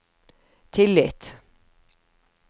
tillit